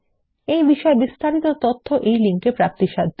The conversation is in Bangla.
এই বিষয় বিস্তারিত তথ্য এই লিঙ্ক এ প্রাপ্তিসাধ্য